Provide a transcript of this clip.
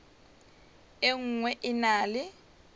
e nngwe e na le